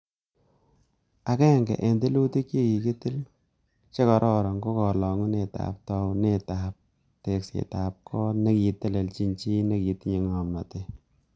Agenge en tilutik che kikitil che kooron ko kolungunet ak taunet ab teksetab got nekitelelchin chi nekitinye ngomnot.